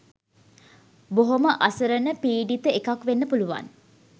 බොහොම අසරණ පීඩිත එකක් වෙන්න පුළුවන්.